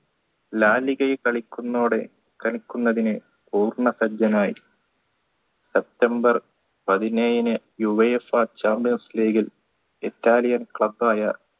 ലാലിഗയെ കളിക്കുന്നോടെ കളിക്കൊന്നതിന് പൂർണ്ണസജ്ജനായി september പതിനേഴിന് uaefa champions league ൽ Italian